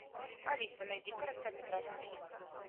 алиса найди короткометражный фильм